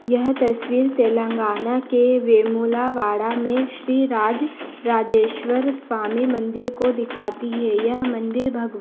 यह तस्वीर तेलंगाना के वेमुलावाडा में श्री राज राजेश्वर स्वामि मंदिर को दिखाती हैं। यह मंदिर भगवान--